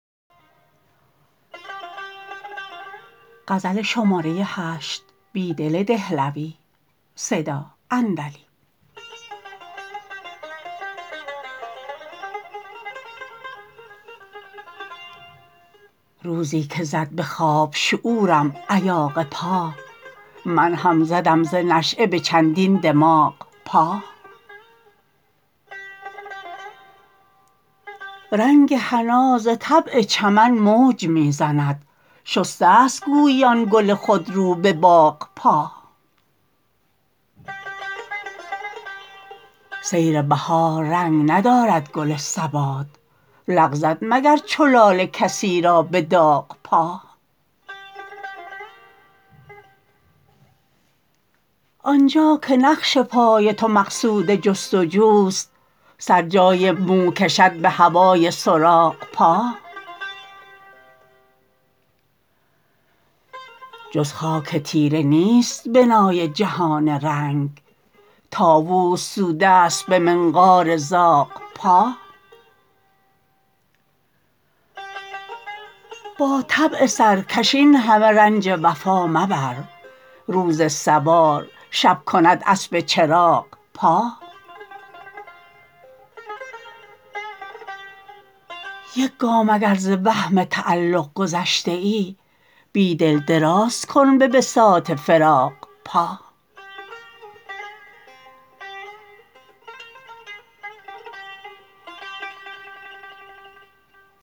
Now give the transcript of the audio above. روزی که زد به خواب شعورم ایاغ پا من هم زدم ز نشیه به چندین دماغ پا رنگ حنا زطبع چمن موج می زند شسه ست گویی آن گل خودرو به باغ پا سیر بهار رنگ ندارد گل ثبات لغزد مگر چو لاله کسی را به داغ پا آنجا که نقش پای تو مقصود جستجوست سر جای موکشد به هوای سراغ پا جز خاک تیره نیست بنای جهان رنگ طاووس سوده است به منقار زاغ پا با طبع سرکش اینهمه رنج وفا مبر روز سوار شب کند اسب چراغ پا یک گام اگر ز وهم تعلق گذشته ای بیدل درازکن به بساط فراغ پا